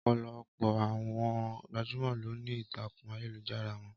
Ọpọlọpọ àwọn gbajúmọ ló ní ìtakun ayélujára wọn